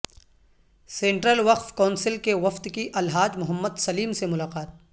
central وقف council کے وفد کی الحاج محمد سلیم سے ملاقات